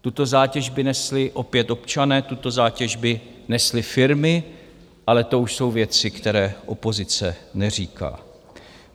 Tuto zátěž by nesli opět občané, tuto zátěž by nesly firmy, ale to už jsou věci, které opozice neříká.